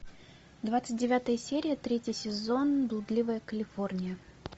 двадцать девятая серия третий сезон блудливая калифорния